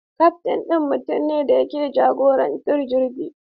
Kaftin ɗin mutum ne da ke jagorantar jirgi.